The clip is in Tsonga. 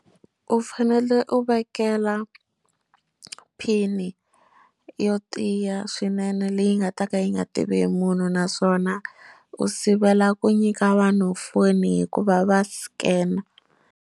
U fanele u vekela pin yo tiya swinene leyi nga ta ka yi nga tivi hi munhu naswona u sivela ku nyika vanhu foni hikuva va scam.